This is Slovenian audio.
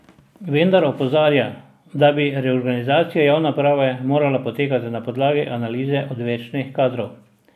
Vendar opozarja, da bi reorganizacija javne uprave morala potekati na podlagi analize odvečnih kadrov.